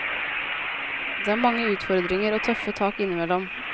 Det er mange utfordringer og tøffe tak innimellom.